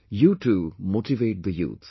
You too motivate the youth